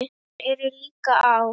Þær eru líka á